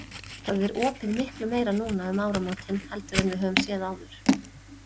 Það er opið miklu meira núna um áramótin heldur en við höfum séð áður?